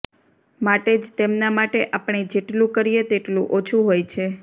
માટે જ તેમના માટે આપણે જેટલું કરીએ તેટલું ઓછું હોય છે